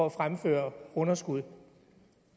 at fremføre underskud